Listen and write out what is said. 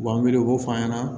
U b'an miiri u b'o fɔ an ɲɛna